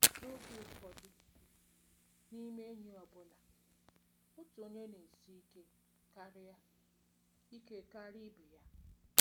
“ N’oge ụfọdụ n’ime enyi ọ bụla, otu onye na-esi ike karịa ike karịa ibe ya.